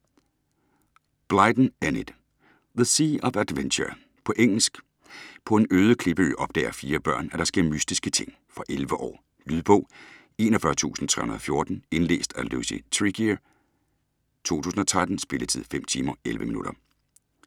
Blyton, Enid: The sea of adventure På engelsk. På en øde klippeø opdager fire børn, at der sker mystiske ting. Fra 11 år. Lydbog 41314 Indlæst af Lucy Tregear, 2013. Spilletid: 5 timer, 11 minutter.